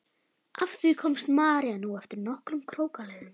Að því komst María nú eftir nokkrum krókaleiðum.